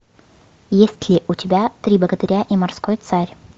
есть ли у тебя три богатыря и морской царь